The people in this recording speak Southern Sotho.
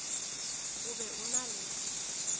o be o na le